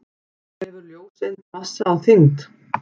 Hefur ljóseind massa og þyngd?